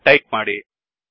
ಎಂದು ಟಾಯಿಪ್ ಮಾಡಿ